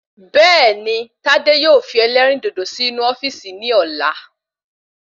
Bẹẹni tádé yóò fi elérìndòdò sì inú ofíìsì ni ọ̀la